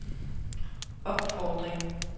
opfordring